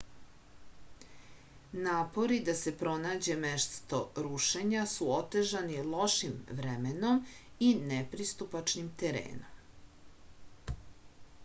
napori da se pronađe mesto rušenja su otežani lošim vremenom i nepristupačnim terenom